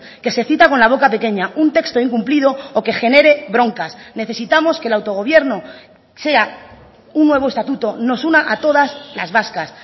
que se cita con la boca pequeña un texto incumplido o que genere broncas necesitamos que el autogobierno sea un nuevo estatuto nos una a todas las vascas